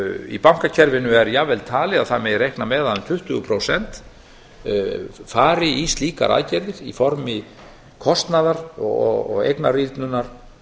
í bankakerfinu er jafnvel talið að það megi reikna með að að um tuttugu prósent fari í slíkar aðgerðir í formi kostnaðar og eignarýrnunar